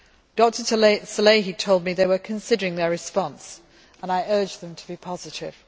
Dr Salehi told me they were considering their response and I urged them to be positive.